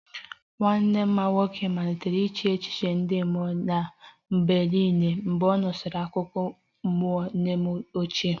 Nwanne m nwoke malitere iche echiche ndị mmụọ n'ebe niile mgbe ọ nụsịrị akụkọ mmụọ nne m ochie